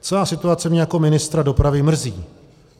Celá situace mě jako ministra dopravy mrzí.